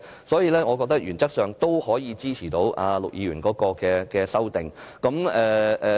所以，我認為原則上我們可以支持陸議員的修正案。